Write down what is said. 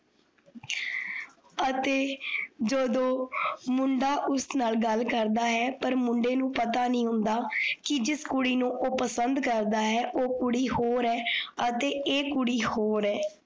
ਅਤੇ ਜਦੋਂ ਮੁੰਡਾ ਉਸ ਨਾਲ ਗੱਲ ਕਰਦਾ ਹੈ, ਪਰ ਮੁੰਡੇ ਨੂੰ ਪਤਾ ਨਹੀਂ ਹੁੰਦਾ ਕਿ ਜਿਸ ਕੁੜੀ ਨੂੰ ਓਹ ਪਸੰਦ ਕਰਦਾ ਹੈ, ਓਹ ਕੁੜੀ ਹੋਰ ਐ ਅਤੇ ਐ ਕੁੜੀ ਹੋਰ ਐ